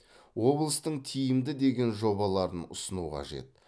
облыстың тиімді деген жобаларын ұсыну қажет